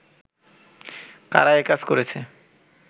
কারা একাজ করেছে